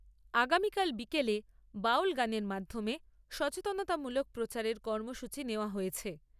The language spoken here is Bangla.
আগামীকাল বিকেলে বাউল গানের মাধ্যমে সচেতনতামূলক প্রচারের কর্মসূচী নেওয়া হয়েছে।